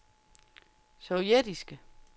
sovjetiske